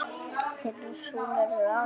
Þeirra sonur er Aron Breki.